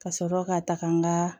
Ka sɔrɔ ka taga n ka